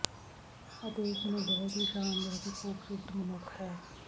ਅਤੇ ਉਸ ਨੇ ਬਹੁਤ ਹੀ ਸ਼ਾਨਦਾਰ ਅਤੇ ਖੂਬਸੂਰਤ ਮਨੁੱਖ ਹੈ